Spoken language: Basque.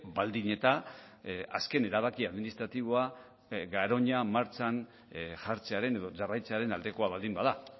baldin eta azken erabaki administratiboa garoña martxan jartzearen edo jarraitzearen aldekoa baldin bada